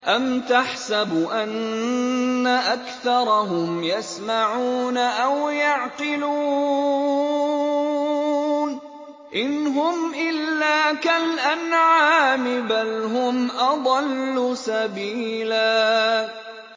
أَمْ تَحْسَبُ أَنَّ أَكْثَرَهُمْ يَسْمَعُونَ أَوْ يَعْقِلُونَ ۚ إِنْ هُمْ إِلَّا كَالْأَنْعَامِ ۖ بَلْ هُمْ أَضَلُّ سَبِيلًا